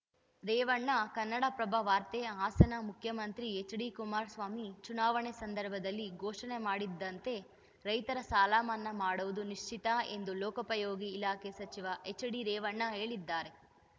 ರೇವಣ್ಣ ಕನ್ನಡಪ್ರಭ ವಾರ್ತೆ ಹಾಸನ ಮುಖ್ಯಮಂತ್ರಿ ಎಚ್‌ಡಿ ಕುಮಾರಸ್ವಾಮಿ ಚುನಾವಣೆ ಸಂದರ್ಭದಲ್ಲಿ ಘೋಷಣೆ ಮಾಡಿದ್ದಂತೆ ರೈತರ ಸಾಲಮನ್ನಾ ಮಾಡುವುದು ನಿಶ್ಚಿತ ಎಂದು ಲೋಕೋಪಯೋಗಿ ಇಲಾಖೆ ಸಚಿವ ಎಚ್‌ಡಿರೇವಣ್ಣ ಹೇಳಿದ್ದಾರೆ